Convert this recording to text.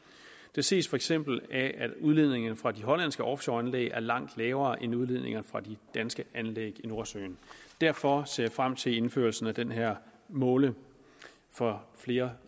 det ses for eksempel af at udledninger fra de hollandske offshoreanlæg er langt lavere end udledninger fra de danske anlæg i nordsøen derfor ser jeg frem til indførelsen af den her måling for flere